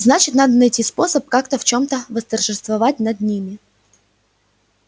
значит надо найти способ как-то в чем-то восторжествовать над ними